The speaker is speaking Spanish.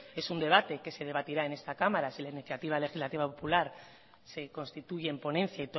es un debate que se debatirá en esta cámara si la iniciativa legislativa popular se constituye en ponencia